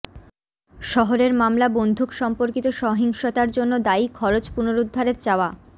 শহরের মামলা বন্দুক সম্পর্কিত সহিংসতার জন্য দায়ী খরচ পুনরুদ্ধারের চাওয়া